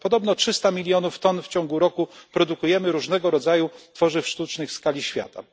Podobno 300 milionów ton w ciągu roku produkujemy różnego rodzaju tworzyw sztucznych w skali świata.